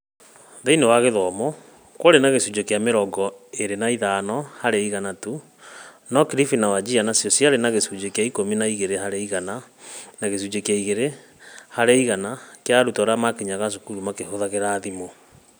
Thĩinĩ wa gĩthumo, kwarĩ na gĩcunjĩ kĩa mĩrongo ĩrĩ na ithano harĩ igana tu, no Kilifi na Wajir nĩcio ciarĩ na gĩcunjĩ kĩa ikũmi na igĩrĩ harĩ igana na gĩcunjĩ kĩa igĩrĩ harĩ igana kĩa arutwo arĩa maakinyaga cukuru makĩhũthĩra thimũ.